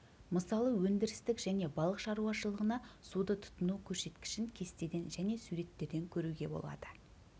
мысалы өндірістік және балық шаруашылығына суды тұтыну көрсеткішін кестеден және суреттерден көруге болады